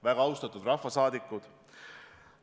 Väga austatud rahvasaadikud!